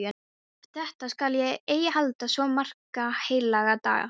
Eftir þetta skal ég ei halda svo marga heilaga daga.